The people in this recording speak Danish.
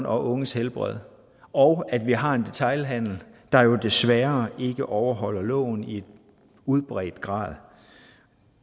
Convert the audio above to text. og unges helbred og at vi har en detailhandel der jo desværre ikke overholder loven i udbredt grad